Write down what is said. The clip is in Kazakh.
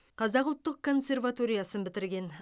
қазақ ұлттық консерваториясын бітірген